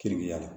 Keriya la